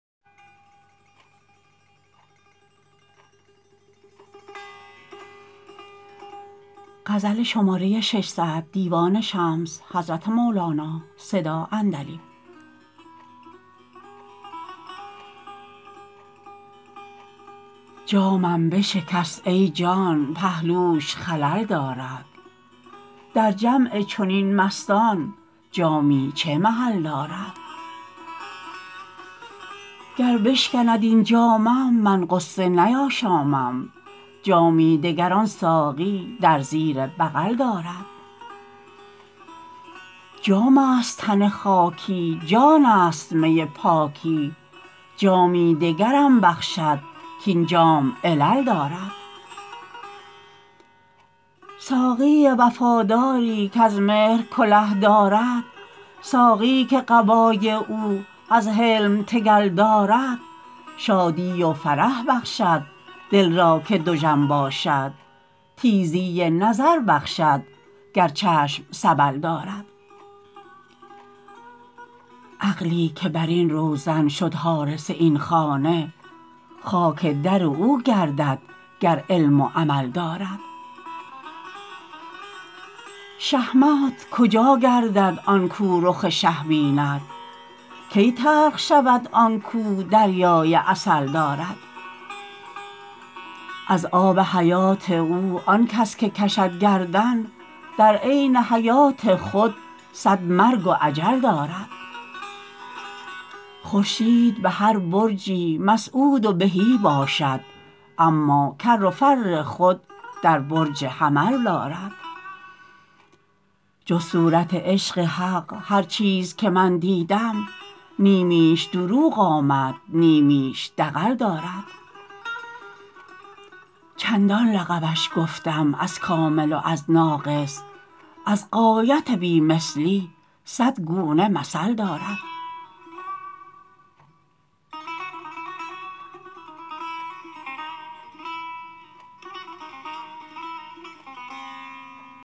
جامم بشکست ای جان پهلوش خلل دارد در جمع چنین مستان جامی چه محل دارد گر بشکند این جامم من غصه نیاشامم جامی دگر آن ساقی در زیر بغل دارد جامست تن خاکی جانست می پاکی جامی دگرم بخشد کاین جام علل دارد ساقی وفاداری کز مهر کله دارد ساقی که قبای او از حلم تگل دارد شادی و فرح بخشد دل را که دژم باشد تیزی نظر بخشد گر چشم سبل دارد عقلی که بر این روزن شد حارس این خانه خاک در او گردد گر علم و عمل دارد شهمات کجا گردد آن کو رخ شه بیند کی تلخ شود آن کو دریای عسل دارد از آب حیات او آن کس که کشد گردن در عین حیات خود صد مرگ و اجل دارد خورشید به هر برجی مسعود و بهی باشد اما کر و فر خود در برج حمل دارد جز صورت عشق حق هر چیز که من دیدم نیمیش دروغ آمد نیمیش دغل دارد چندان لقبش گفتم از کامل و از ناقص از غایت بی مثلی صد گونه مثل دارد